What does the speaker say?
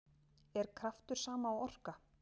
Er kraftur sama og orka?